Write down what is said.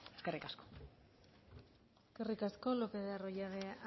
eskerrik asko eskerrik asko lopez de arroyabe